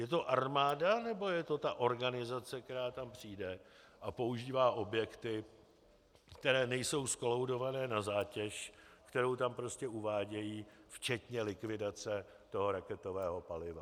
Je to armáda, nebo je to ta organizace, která tam přijde a používá objekty, které nejsou zkolaudované na zátěž, kterou tam prostě uvádějí včetně likvidace toho raketového paliva?